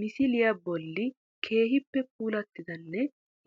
Misiliya bolli keehippe puulattidanbe